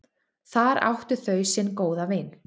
Þar áttu þau sinn góða vin.